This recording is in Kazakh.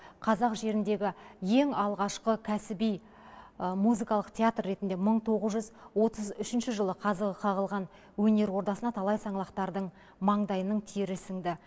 қазақ жеріндегі ең алғашқы кәсіби музыкалық театр ретінде мың тоғыз жүз отыз үшінші жылы қазығы қағылған өнер ордасына талай саңлақтардың маңдайының тері сіңді